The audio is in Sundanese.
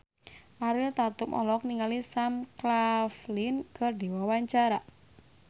Ariel Tatum olohok ningali Sam Claflin keur diwawancara